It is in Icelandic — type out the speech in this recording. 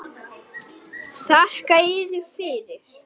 LÁRUS: Þakka yður fyrir.